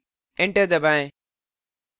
enter दबाएँ